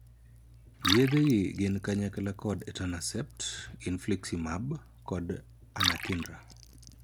Yedhe gi gin kanyakla kod ' etanercept', 'infliximab', kod 'anakinra'.